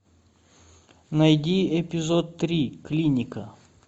найди эпизод три клиника